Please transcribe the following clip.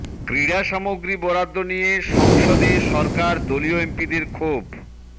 ক্রীড়া সামগ্রী বরাদ্দ নিয়ে সংসদে সরকার দলীয় এমপিদের ক্ষোভ